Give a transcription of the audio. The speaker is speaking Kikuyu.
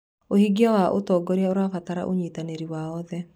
ũhingia wa ũtongoria ũrabatara ũnyitanĩri wa oothe.